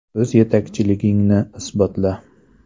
O‘z yetakchiligingni isbotla!.